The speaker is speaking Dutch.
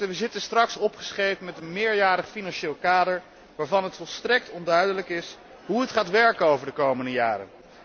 We zitten straks opgescheept met een meerjarig financieel kader waarvan het volstrekt onduidelijk is hoe het gaat werken in de komende jaren.